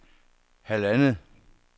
halvandet